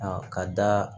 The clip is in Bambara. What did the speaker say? A ka da